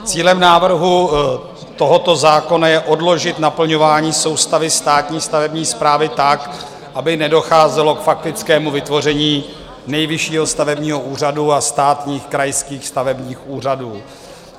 Cílem návrhu tohoto zákona je odložit naplňování soustavy státní stavební správy tak, aby nedocházelo k faktickému vytvoření Nejvyššího stavebního úřadu a státních krajských stavebních úřadů.